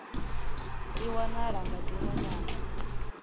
i wanala nga dziṅwe nyambo